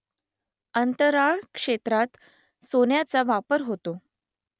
अंतराळ क्षेत्रात सोन्याचा वापर होतो